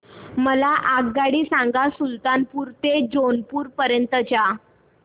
मला आगगाडी सांगा सुलतानपूर ते जौनपुर पर्यंत च्या